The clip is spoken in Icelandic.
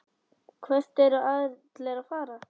Hvert eru allir að fara?